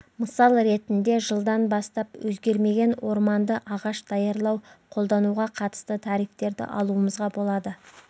мысал ретінде жылдан бастап өзгермеген орманды ағаш даярлау қолдануға қатысты тарифтерді алуымызға болады